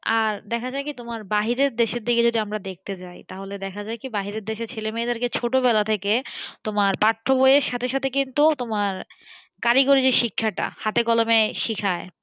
আর দেখা যায় কি তোমার বাহিরের দেশের দিকে যদি আমরা দেখতে যাই তাহলে দেখা যায় কি বাহিরের দেশের ছেলেমেয়েদেরকে ছোট বেলা থেকে তোমার পাঠ্য বইয়ের সাথে সাথে কিন্তু তোমার কারিগরী যে শিক্ষাটা হাতে কলমে শেখায়,